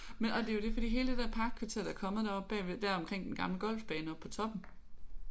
Men og det er jo det for hele det parkkvarter der er kommet deroppe bagved der omkring den gamle golfbane oppe på toppen